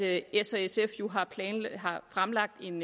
at s og sf jo har fremlagt en